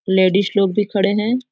Ladies लोग भी खड़े हैं।